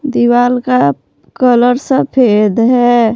दीवाल का कलर सफेद है।